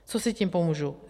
Co si tím pomůžu?